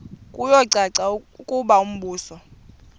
kuyacaca ukuba umbuso